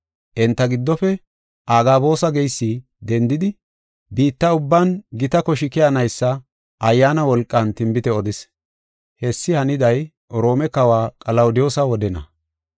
Enta giddofe Agaboosa geysi dendidi biitta ubban gita koshi keyanaysa Ayyaana wolqan tinbite odis. Hessi haniday Roome Kawa Qalawudiyoosa wodena.